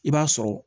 I b'a sɔrɔ